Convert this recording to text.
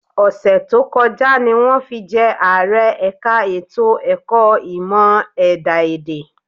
Ọ̀sẹ̀ tó kọjá ni wọ́n fi jẹ́ Ààrẹ ẹ̀ka ètò ẹ̀kọ́ ìmọ̀ ẹ̀dá-èdè